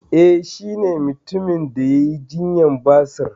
Eh shi ne mutumin da yai jinyar basir